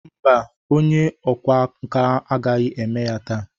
Mba, onye ọkwá nkà agaghị eme ya taa.